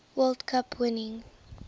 world cup winning